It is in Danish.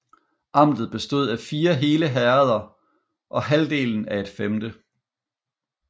Amtet bestod af fire hele herreder og halvdelen af et femte